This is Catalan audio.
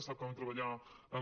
sap que vam treballar amb